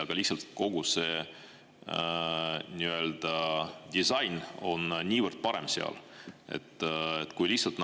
Aga lihtsalt kogu see disain on niivõrd parem.